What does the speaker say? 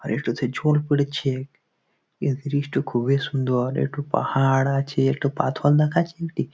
আর একটাতে জল পড়েছে । এই দৃশ্য খুবই সুন্দর। একটু পাহাড় আছে একটু পাথর দেখাচ্ছে একটি --